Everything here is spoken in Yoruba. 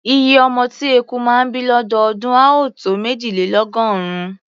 Iye ọmọ tí eku máa ń bí lọ́dọọdún á tó méjìlélọ́gọ́rùn-ún.